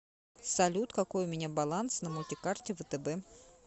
салют какой у меня баланс на мультикарте втб